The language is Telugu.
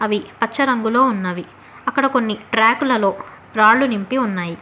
అవి పచ్చ రంగులో ఉన్నవి అక్కడ కొన్ని ట్రాకులలో రాళ్లు నింపి ఉన్నాయి.